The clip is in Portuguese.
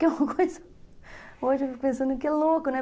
Que é uma coisa... Hoje eu fico pensando que é louco, né?